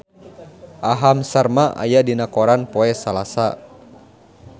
Aham Sharma aya dina koran poe Salasa